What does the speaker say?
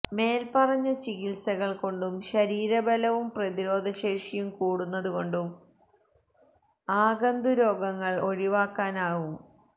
മേല്പറഞ്ഞ ചികിത്സകള് കൊണ്ടും ശരീരബലവും പ്രതിരോധശേഷിയും കൂടുന്നതു കൊണ്ടും ആഗന്തുരോഗങ്ങള് ഒഴിവാക്കാനാവും